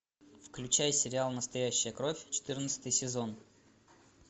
включай сериал настоящая кровь четырнадцатый сезон